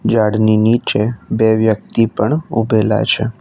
ઝાડની નીચે બે વ્યક્તિ પણ ઉભેલા છે.